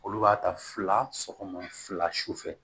Olu b'a ta fila sɔgɔma fila su fɛ